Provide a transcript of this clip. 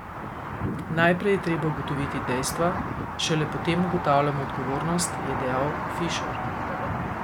Najprej je treba ugotoviti dejstva, šele potem ugotavljamo odgovornost, je dejal Fišer.